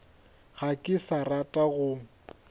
ga ke sa rata go